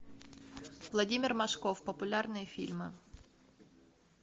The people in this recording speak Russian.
владимир машков популярные фильмы